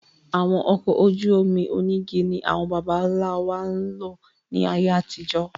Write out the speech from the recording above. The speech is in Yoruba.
Àwọn ọkọ̀ ojú omi onígi ni àwọn bàbá ńlá wa ń lò ní ayé àtijó.